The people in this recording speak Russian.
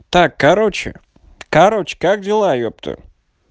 так короче короче как дела епту